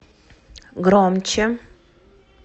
громче